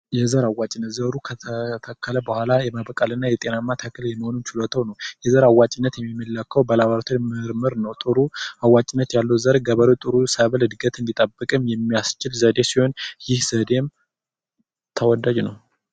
የዘር አዋጭነት ዘሩ ከተተከለ በኋላ ጤናማ ዘር የመሆን ችሎታው ነው ይህ የሚታወቀው በላቦራቶሪ በመመርመር ነው ጥሩ እና አዋጭነት ያለው ዘር ገበሬው ገንዘብ እንዲያገኝ የሚያስችል ሲሆን ይህ ዘዴም ተወዳጅ ነው።